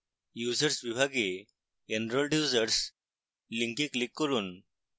users বিভাগে enrolled users link click করুন